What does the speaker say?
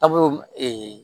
A b'o